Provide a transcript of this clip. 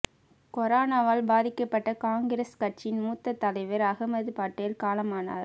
கொரோனாவால் பாதிக்கப்பட்ட காங்கிரஸ் கட்சியின் மூத்தத் தலைவர் அகமது பட்டேல் காலமானார்